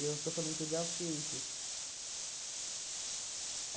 Eu estou falando que eu já o que isso.